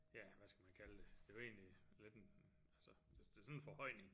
Ja hvad skal man kalde det er jo egentlig lidt en altså det er sådan en forhøjning